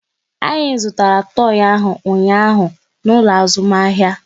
Anyị zụtara toi ahụ ụnyaahụ n'ụlọ azụmahịa